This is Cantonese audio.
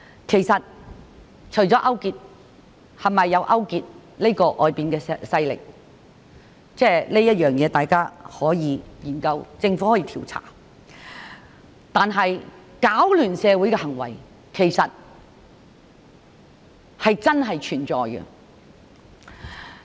其實，是否有人勾結外國勢力，大家可以研究，政府可以調查；但是，攪亂社會的行為是真正存在的。